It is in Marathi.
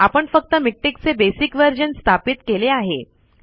आपण फक्त मिक्टेक चे बेसिक वर्जन स्थापित केले आहे